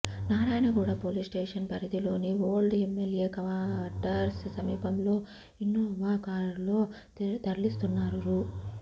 Narayanguda police station పరిధిలోని old MLA quarters సమీపంలో Innova కారులో తరలిస్తున్న రూ